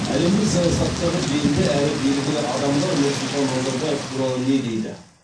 әлемдік саясаттағы белді әрі белгілі адамдар нұрсұлтан назарбаев туралы не дейді